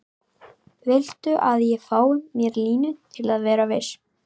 Viltu að ég fái mér línu til að vera viss?